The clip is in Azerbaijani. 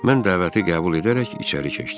Mən dəvəti qəbul edərək içəri keçdim.